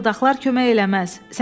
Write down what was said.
Belə fırıldaqlar kömək eləməz.